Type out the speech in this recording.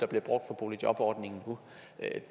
bliver brugt om boligjobordningen